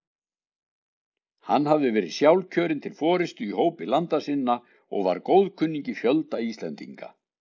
Hann hafði verið sjálfkjörinn til forystu í hópi landa sinna og var góðkunningi fjölda Íslendinga.